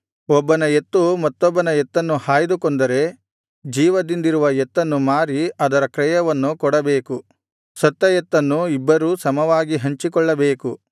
ಒಬ್ಬನ ಎತ್ತು ಮತ್ತೊಬ್ಬನ ಎತ್ತನ್ನು ಹಾಯ್ದು ಕೊಂದರೆ ಜೀವದಿಂದಿರುವ ಎತ್ತನ್ನು ಮಾರಿ ಅದರ ಕ್ರಯವನ್ನು ಕೊಡಬೇಕು ಸತ್ತ ಎತ್ತನ್ನೂ ಇಬ್ಬರೂ ಸಮವಾಗಿ ಹಂಚಿಕೊಳ್ಳಬೇಕು